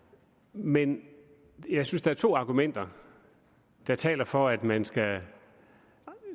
men jeg synes der er to argumenter der taler for at man skal